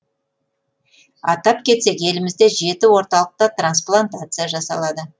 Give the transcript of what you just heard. атап кетсек елімізде жеті орталықта трансплантация жасалады